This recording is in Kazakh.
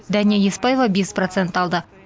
дәния еспаева бес процент алды